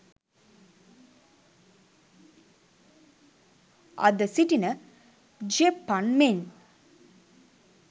අද සිටින ජෙප්පන් මෙන්